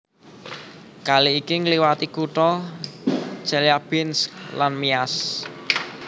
Kali iki ngliwati kutha Chelyabinsk lan Miass